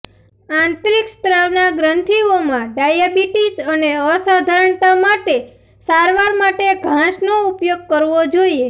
આંતરિક સ્ત્રાવના ગ્રંથીઓમાં ડાયાબિટીસ અને અસાધારણતા માટે સારવાર માટે ઘાસનો ઉપયોગ કરવો જોઇએ